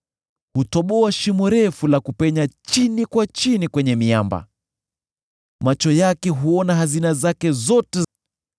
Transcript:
Hutoboa shimo refu la kupenya chini kwa chini kwenye miamba; macho yake huona hazina zake zote.